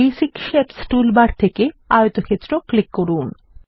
basic shapes toolbar থেকে আয়তক্ষেত্র click করুন